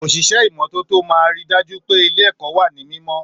Òṣìṣẹ́ ìmọ́tótó máa ríi dájú pé ilé èkọ́ wa ní mímọ́